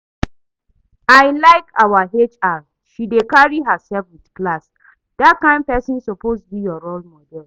I like our HR, she dey carry herself with class. Dat kyn person suppose be your role model